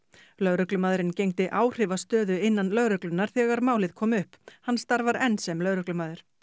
lögreglumaðurinn gegndi áhrifastöðu innan lögreglunnar þegar málið kom upp hann starfar enn sem lögreglumaður